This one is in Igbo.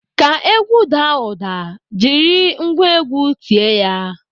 Ka egwu daa ụda, jiri ngwa egwu tie ya.